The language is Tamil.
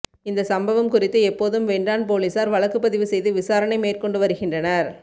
இந்த சம்பவம் குறித்து எப்போதும் வென்றான் போலீசார் வழக்குப்பதிவு செய்து விசாரணை மேற்கொண்டு வருகின்றனர்